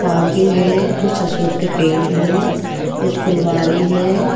Parking है कुछ अशोक के पेड़ हैं। कुछ फुलवारी है।